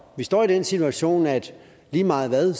vi står i den situation at lige meget hvad